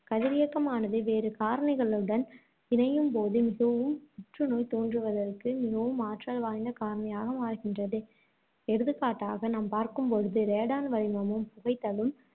கதிரியக்கமானது, வேறு காரணிகளுடன் இணையும்போது, மிகவும் புற்றுநோய் தோன்றுவதற்கு மிகவும் ஆற்றல் வாய்ந்த காரணியாக மாறுகின்றது, எடுத்துக் காட்டாக நாம் பார்க்கும்பொழுது ரேடான் வளிமமும் புகைத்தலும்